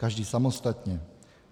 Každý samostatně.